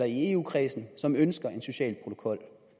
i eu kredsen som ønsker en social protokol